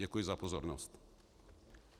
Děkuji za pozornost.